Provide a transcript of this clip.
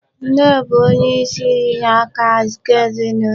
Nne bụ onye inyeaka nke ezinụlọ.